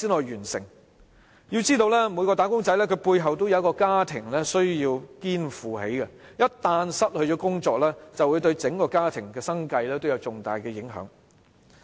要知道每名"打工仔"背後也有一個家庭需要肩負，一旦失去工作便會對整個家庭的生計造成重大影響。